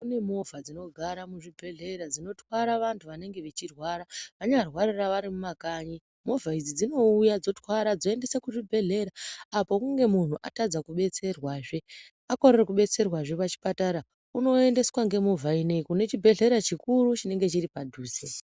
Kune movha dzinogara muzvibhedhlera dzinotwara vantu vanenge vachirwara. Vanyarwarira vari mumakanyi movha idzi dzinouya dzotwara dzoendesa kuzvibhedhlera apa kunge muntu atadza kubetserwazve. Akorere kubetserwazve pachipatara unoendeswa ngemovha inoiyi kune chibhedhlera chikuru chinenge chiri padhuze.